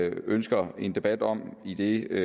ønsker en debat om idet